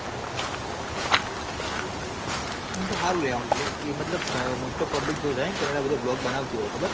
ઇ મ તો હારું લાયા મતલબ mostofpublic કેનેડા તોય રેહ bloc બનાવતી હોય ખબર હ